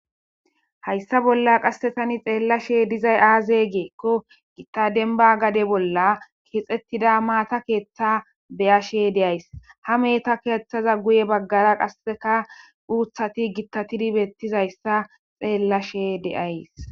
Hayssa bolla qassi thani xeellashee dizay aazee giikko githa gade dembaa bolla keexeththida maatha keeththaa be7ashee de7ays;ha mehetha keeththaza guyye baggaara qassikka uuththathi githaththidi beeththizayssa xeellashee de7ays.